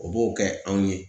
O b'o kɛ anw ye